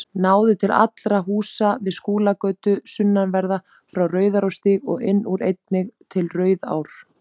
Náði til allra húsa við Skúlagötu sunnanverða, frá Rauðarárstíg og inn úr, einnig til Rauðarár.